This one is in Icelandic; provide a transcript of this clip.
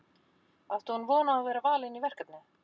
Átti hún von á að vera valin í verkefnið?